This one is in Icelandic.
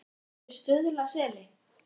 Og við getum búið í Stuðlaseli.